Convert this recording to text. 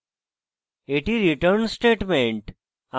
এটি আমাদের return statement